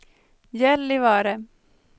Gällivare